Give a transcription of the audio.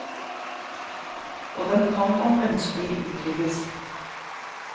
Og den kan om ønskelig utvides.